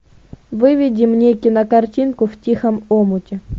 выведи мне кинокартинку в тихом омуте